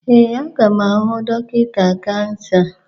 Ee, aga m ahụ dọkịta kansa.